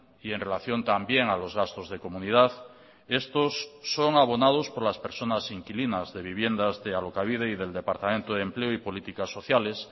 y en relación también a los gastos de comunidad estos son abonados por las personas inquilinas de viviendas de alokabide y del departamento de empleo y políticas sociales